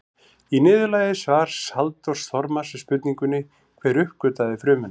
Í niðurlagi svars Halldórs Þormars við spurningunni Hver uppgötvaði frumuna?